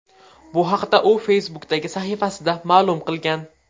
Bu haqda u Facebook’dagi sahifasida ma’lum qilgan.